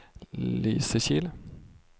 Lysekil